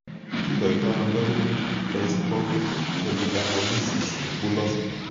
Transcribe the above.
Kikoitoono dominant dystrophic epidermolysis bullosa?